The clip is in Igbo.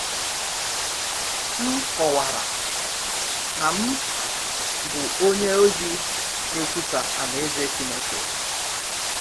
M kọwara na m bụ onye ozi na-ekwusa Alaeze Chineke.